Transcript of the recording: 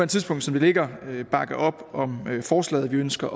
tidspunkt som det ligger bakke op om forslaget vi ønsker